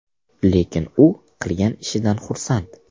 Lekin u qilgan ishidan xursand.